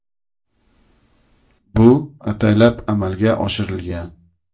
“Bu ataylab amalga oshirilgan”.